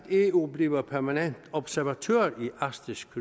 eu bliver permanent observatør i arktisk